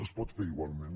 es pot fer igualment